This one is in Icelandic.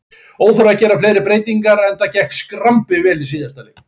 Óþarfi að gera fleiri breytingar enda gekk skrambi vel í síðasta leik.